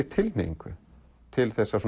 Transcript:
tilhneigingu til þess að